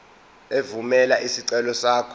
evumela isicelo sakho